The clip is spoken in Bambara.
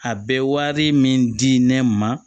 A bɛ wari min di ne ma